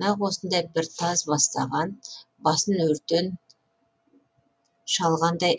нақ осындай бір таз бастанған басын өртен шалғандай